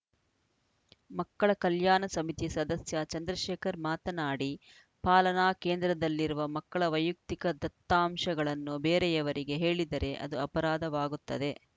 ಮಕ್ಕಳ ಕಲ್ಯಾಣ ಸಮಿತಿ ಸದಸ್ಯ ಚಂದ್ರಶೇಖರ್‌ ಮಾತನಾಡಿ ಪಾಲನಾ ಕೇಂದ್ರದಲ್ಲಿರುವ ಮಕ್ಕಳ ವೈಯಕ್ತಿಕ ದತ್ತಾಂಶಗಳನ್ನು ಬೇರೆಯವರಿಗೆ ಹೇಳಿದರೆ ಅದು ಅಪರಾಧವಾಗುತ್ತದೆ